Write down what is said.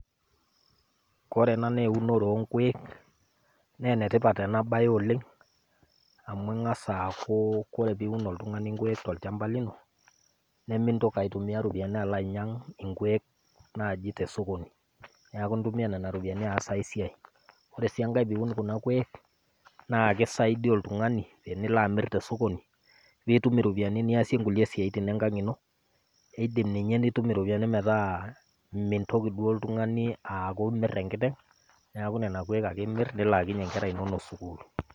Kore ena naa eunore onkuek naa enetipat ena bae oleng amu eng'as aaku ore piun oltung'ani inkuek tolchamba lino, nimintoki aitumiaa iropiani naaji alo ainyang' inkuek tesokoni. Neaku intumia nena ropiani aas ai siai. Ore sii enkai teniun kuna kuek naa keisaidia oltung'ani tenilo amir tesokoni nitum iropiani niasie kulie siaitin enkang' ino, idim ninye nitum iropiani metaa meitoki ninye aaku oltung'ani imir enkiteng' neaku nena kuek ake imir nilaakinyie inkera sukuul.